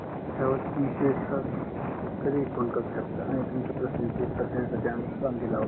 कधीही फोन करू शकता आणि तुमचे प्रश्न चे उत्तर देण्यासाठी आम्ही बंदिल आहोत